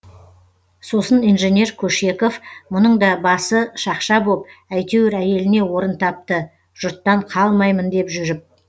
сосын инженер көшеков мұның да басы шақша боп әйтеуір әйеліне орын тапты жұрттан қалмаймын деп жүріп